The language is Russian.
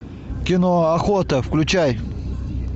кино охота включай